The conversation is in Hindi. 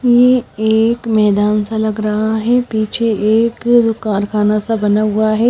ये एक मैदान सा लग रहा है पीछे एक कारखाना सा बना हुआ है।